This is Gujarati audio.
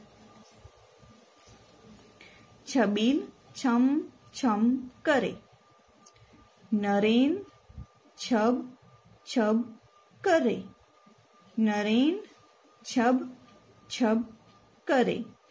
છબીલ છમ છમ કરે નરેન છબ છબ કરે નરેન છબ છબ કરે